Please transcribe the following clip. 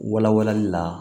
Wala walali la